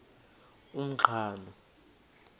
umqhano